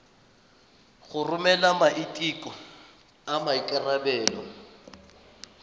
go romela maiteko a maikarebelo